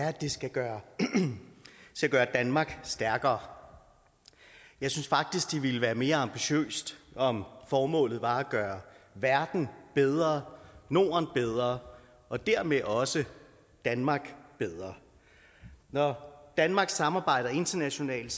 er at det skal gøre danmark stærkere jeg synes faktisk at det ville være mere ambitiøst om formålet var at gøre verden bedre norden bedre og dermed også danmark bedre når danmark samarbejder internationalt